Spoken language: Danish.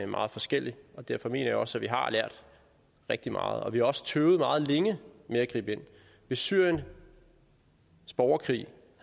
meget forskellige og derfor mener jeg også at vi har lært rigtig meget vi har også tøvet meget længe med at gribe ind hvis syriens borgerkrig